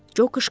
Co qışqırdı.